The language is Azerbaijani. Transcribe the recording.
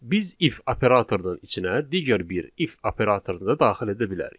Biz if operatordan içinə digər bir if operatoru da daxil edə bilərik.